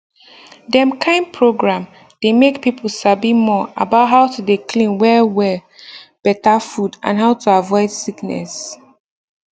dem kind program dey make people sabi more about how to dey clean well well better food and how to avoid sickness